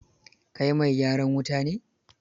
Kai mai gyaran wuta ne?